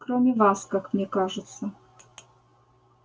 кроме вас как мне кажется